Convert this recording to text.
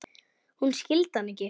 Hún skildi hann ekki.